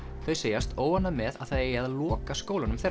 þau segjast óánægð með að það eigi að loka skólanum þeirra